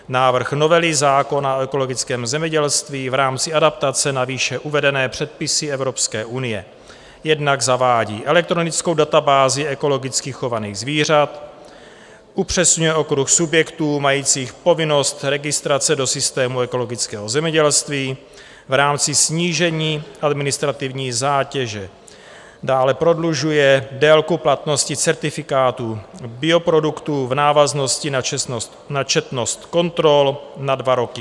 Návrh novely zákona o ekologickém zemědělství v rámci adaptace na výše uvedené předpisy Evropské unie jednak zavádí elektronickou databázi ekologicky chovaných zvířat, upřesňuje okruh subjektů majících povinnost registrace do systému ekologického zemědělství v rámci snížení administrativní zátěže, dále prodlužuje délku platnosti certifikátů bioproduktů v návaznosti na četnost kontrol na dva roky.